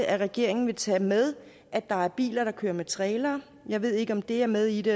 at regeringen vil tage med at der er biler der kører med trailer jeg ved ikke om det er med i det